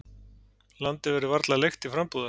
Landið verður varla leigt til frambúðar.